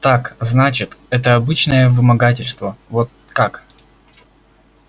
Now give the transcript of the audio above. так значит это обычное вымогательство вот как